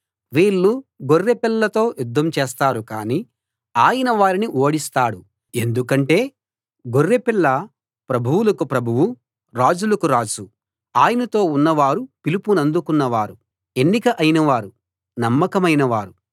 వీళ్ళు గొర్రెపిల్లతో యుద్ధం చేస్తారు కానీ ఆయన వారిని ఓడిస్తాడు ఎందుకంటే గొర్రెపిల్ల ప్రభువులకు ప్రభువు రాజులకు రాజు ఆయనతో ఉన్నవారు పిలుపునందుకున్న వారు ఎన్నిక అయినవారు నమ్మకమైన వారు